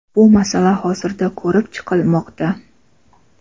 bu masala hozirda ko‘rib chiqilmoqda.